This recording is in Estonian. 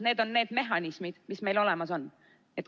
Need on need mehhanismid, mis meil olemas on.